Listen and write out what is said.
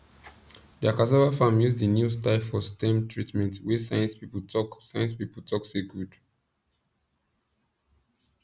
dia cassava farm use di new style for stem treatment wey science people talk science people talk say good